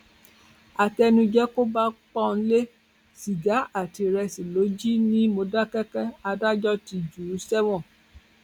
àtẹnuje kò bá paule sìgá àti ìrẹsì ló jì ní mòdákẹkẹ adájọ ti jù ú sẹwọn